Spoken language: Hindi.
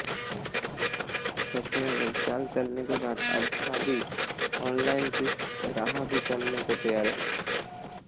फैशनेबल चाल चलने के बाद अब खादी ऑनलाइन की राह भी चलने को तैयार है